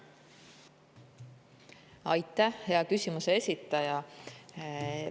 Aitäh, hea küsimuse esitaja!